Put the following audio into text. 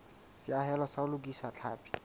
seahelo sa ho lokisa tlhapi